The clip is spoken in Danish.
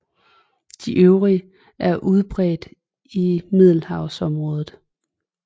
De øvrige er udbredt i Middelhavsområdet